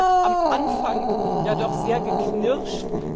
Es hat am Anfang ja doch sehr geknirscht.